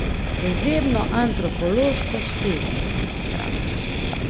Izjemno antropološko čtivo, skratka.